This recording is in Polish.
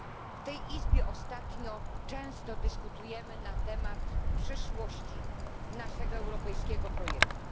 W tej Izbie ostatnio często dyskutujemy na temat przyszłości naszego europejskiego projektu.